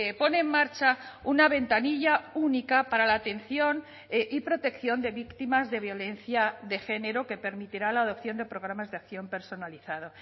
pone en marcha una ventanilla única para la atención y protección de víctimas de violencia de género que permitirá la adopción de programas de acción personalizado